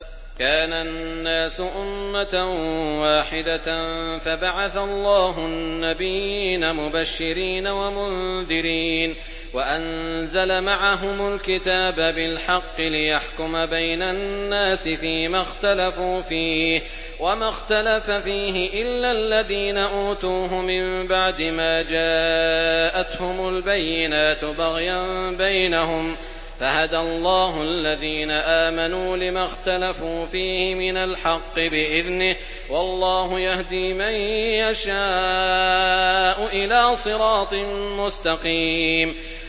كَانَ النَّاسُ أُمَّةً وَاحِدَةً فَبَعَثَ اللَّهُ النَّبِيِّينَ مُبَشِّرِينَ وَمُنذِرِينَ وَأَنزَلَ مَعَهُمُ الْكِتَابَ بِالْحَقِّ لِيَحْكُمَ بَيْنَ النَّاسِ فِيمَا اخْتَلَفُوا فِيهِ ۚ وَمَا اخْتَلَفَ فِيهِ إِلَّا الَّذِينَ أُوتُوهُ مِن بَعْدِ مَا جَاءَتْهُمُ الْبَيِّنَاتُ بَغْيًا بَيْنَهُمْ ۖ فَهَدَى اللَّهُ الَّذِينَ آمَنُوا لِمَا اخْتَلَفُوا فِيهِ مِنَ الْحَقِّ بِإِذْنِهِ ۗ وَاللَّهُ يَهْدِي مَن يَشَاءُ إِلَىٰ صِرَاطٍ مُّسْتَقِيمٍ